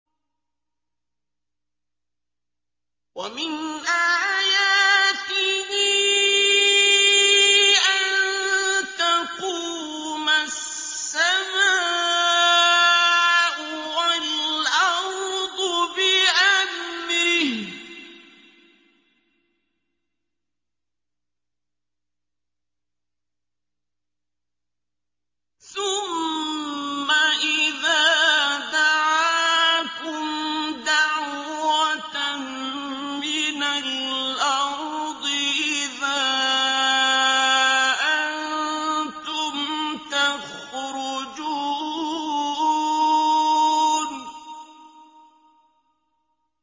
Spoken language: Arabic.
وَمِنْ آيَاتِهِ أَن تَقُومَ السَّمَاءُ وَالْأَرْضُ بِأَمْرِهِ ۚ ثُمَّ إِذَا دَعَاكُمْ دَعْوَةً مِّنَ الْأَرْضِ إِذَا أَنتُمْ تَخْرُجُونَ